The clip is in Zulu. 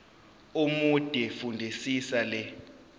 omude fundisisa le